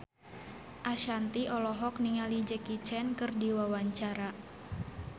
Ashanti olohok ningali Jackie Chan keur diwawancara